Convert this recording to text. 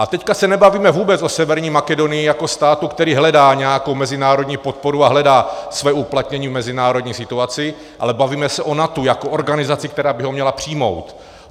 A teď se nebavíme vůbec o Severní Makedonii jako státu, který hledá nějakou mezinárodní podporu a hledá své uplatnění v mezinárodní situaci, ale bavíme se o NATO jako organizaci, která by ho měla přijmout.